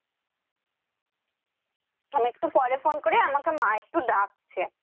আমি একটু পরে ফোন করি আমাকে মা একটু ডাকছে